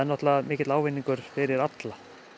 mikill ávinningur fyrir alla